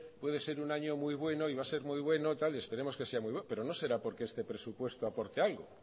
puede ser un año muy bueno y va a ser muy bueno y esperemos que sea muy bueno pero no será porque este presupuesto aporte algo